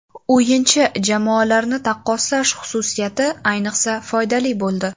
O‘yinchi/jamoalarni taqqoslash xususiyati ayniqsa foydali bo‘ldi.